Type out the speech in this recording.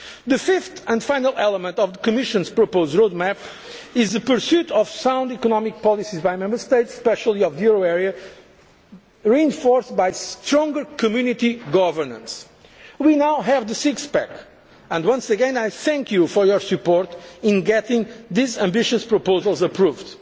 bonds. The fifth and final element of the Commission's proposed road map is the pursuit of sound economic policies by Member States, especially those in the euro area, reinforced by stronger Community governance. We now have the six pack and once again I thank you for your support in getting these ambitious proposals